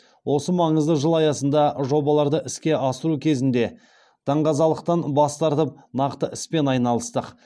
осы маңызды жыл аясында жобаларды іске асыру кезінде даңғазалықтан бас тартып нақты іспен айналыстық